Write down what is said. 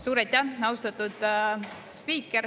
Suur aitäh, austatud spiiker!